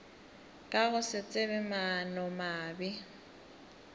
ka go se tsebe maanomabe